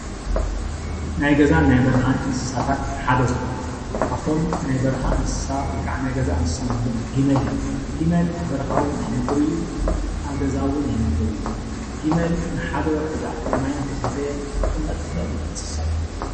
ናይ ገዛ ን ናይ በረካን እንስሳታት ሓደ ዝኮነ ካብ እቶም ናይ በረካ እንስሳ ወይ ከዓ ናይ ገዛ እንስሳ እንብሎም ግመል እዩ። ግመል ኣብ በረካ እውን ይነበር እዩ። ኣብ ገዛ እውን ይነበር እዩ። ግመል ንሓደ ወርሒ ዝኣክል ማይ ከይሰተየ ክቅመጥ ዝክእል እንስሳ እዩ።